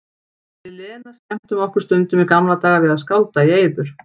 Við Lena skemmtum okkur stundum í gamla daga við að skálda í eyður.